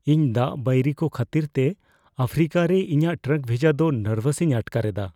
ᱤᱧ ᱫᱟᱜ ᱵᱟᱹᱭᱨᱤᱠᱚ ᱠᱷᱟᱹᱛᱤᱨᱛᱮ ᱟᱯᱷᱨᱤᱠᱟᱨᱮ ᱤᱧᱟᱹᱜ ᱴᱨᱟᱠ ᱵᱷᱮᱡᱟ ᱫᱚ ᱱᱟᱨᱵᱷᱟᱥᱤᱧ ᱟᱴᱠᱟᱨ ᱮᱫᱟ ᱾